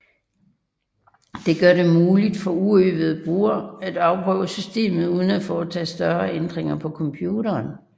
Det gør det muligt for uøvede brugere at afprøve systemet uden at foretage større ændringer på computeren